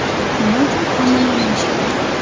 Nima uchun hammani emlash kerak?